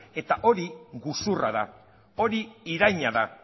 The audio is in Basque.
eta hori gezurra da hori iraina da